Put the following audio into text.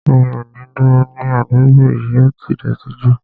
Mi ò ní dúró ní àdúgbò yìí, ó ti dọ̀ọ̀tí jù